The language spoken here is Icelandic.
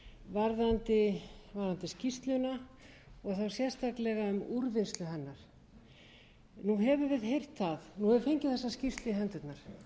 og sérstaklega um úrvinnslu hennar nú höfum við heyrt það nú höfum við fengið þessa skýrslu í hendurnar